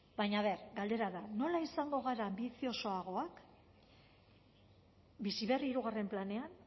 baina aber galdera da nola izango gara anbiziosoagoak bizi berri hirugarren planean